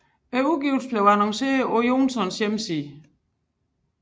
Udgivelsen blev annonceret på Johnsons hjemmeside